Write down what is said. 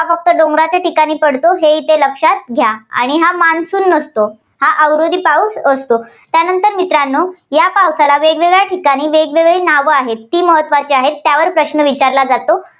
फक्त डोंगराच्या ठिकाणी पडतो हे इथे लक्षात घ्या. आणि हा monsoon नसतो. हा अवरोधी पाऊस असतो. त्यानंतर मित्रांनो या पावसाला वेगवेगळ्या ठिकाणी वेगवेगळी नावं ्आहेत. ती महत्त्वाची आहेत. त्यावर प्रश्न विचारला जातो.